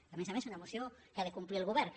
a més a més una moció que ha de complir el govern que